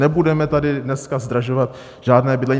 Nebudeme tady dneska zdražovat žádné bydlení.